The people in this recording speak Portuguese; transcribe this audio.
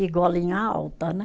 E golinha alta, né?